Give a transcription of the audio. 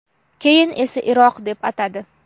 keyin esa Iroq deb atadi.